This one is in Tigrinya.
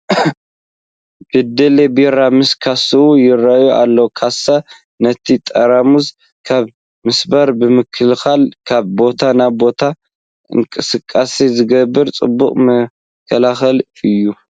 በደሌ ቢራ ምስ ካስኡ ይርአ ኣሎ፡፡ ካሳ ነቲ ጠራሙዝ ካብ ምስባር ብምክልኻል ካብ ቦታ ናብ ቦታ ክንቀሳቐስ ዝገብር ፅቡቕ መከላኸሊ እዩ፡፡